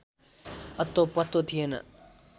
अत्तोपत्तो थिएन